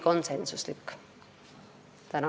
Tänan!